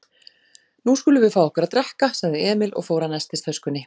Nú skulum við fá okkur að drekka, sagði Emil og fór að nestistöskunni.